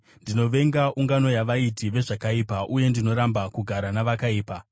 ndinovenga ungano yavaiti vezvakaipa, uye ndinoramba kugara navakaipa.